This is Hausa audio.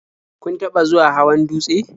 Kun taɓa zuwa hawan dutse?